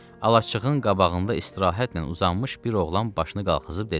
Alaçığın qabağında istirahətlə uzanmış bir oğlan başını qalxızıb dedi: